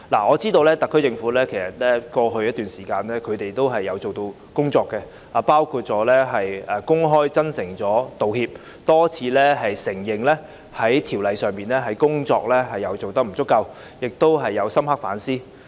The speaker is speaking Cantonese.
我知道特區政府在過去一段時間做了一些工夫，包括公開真誠道歉、多次承認修例工作的不足，亦有深刻反思。